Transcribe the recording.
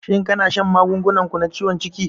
Shin kana shan magungunan ku na ciwon ciki?